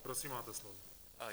Prosím, máte slovo.